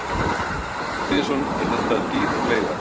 Símon Birgisson: Er þetta dýr leiga?